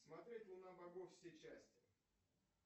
смотреть луна богов все части